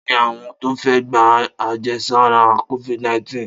Ta ni àwọn tó fẹ́ gba àjẹsára Covid-19?